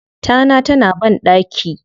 Tana ta na banɗaki.